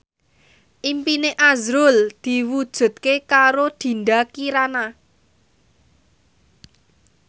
impine azrul diwujudke karo Dinda Kirana